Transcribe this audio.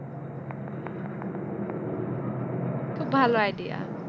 খুব ভালো idea